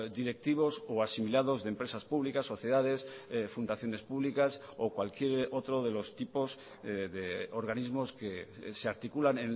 directivos o asimilados de empresas públicas sociedades fundaciones públicas o cualquier otro de los tipos de organismos que se articulan